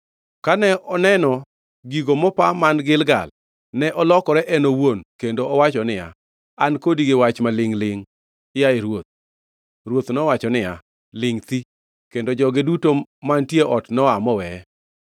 Kane oneno gigo mopa man Gilgal ne olokore en owuon kendo owacho niya, “An kodi gi wach ma lingʼ-lingʼ, yaye ruoth.” Ruoth nowacho niya, “Lingʼ thi!” Kendo joge duto mantie noa moweye.